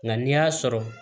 Nka n'i y'a sɔrɔ